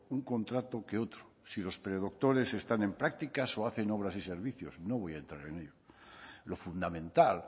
un contrato que otro si los predoctores están en prácticas o hacen obras y servicios no voy a entrar en ello lo fundamental